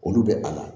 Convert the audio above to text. Olu bɛ a la